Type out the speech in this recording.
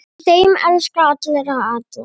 Í þeim elska allir alla.